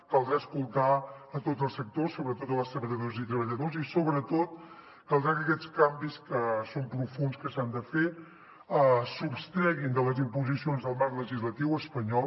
caldrà escoltar a tots els sectors sobretot les treballadores i treballadors i sobretot caldrà que aquests canvis que són profunds que s’han de fer es sostreguin de les imposicions del marc legislatiu espanyol